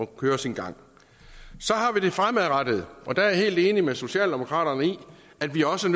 kører sin gang så har vi det fremadrettede og der er jeg helt enig med socialdemokraterne i at vi også